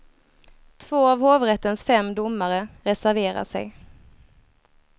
Två av hovrättens fem domare reserverar sig.